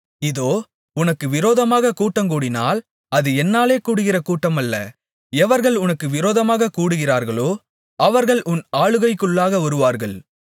இதோ உனக்கு விரோதமாகக் கூட்டங்கூடினால் அது என்னாலே கூடுகிற கூட்டமல்ல எவர்கள் உனக்கு விரோதமாகக் கூடுகிறார்களோ அவர்கள் உன் ஆளுகைக்குள்ளாக வருவார்கள்